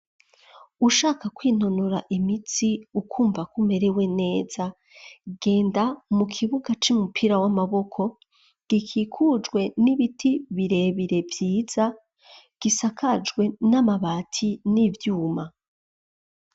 Ushaka kwinonora imitsi ukumva kumerewe neza genda mu kibuga c'umupira w'amaboko gikikujwe n'ibiti birebire vyiza gisakajwe n'amabati n'ivyuma.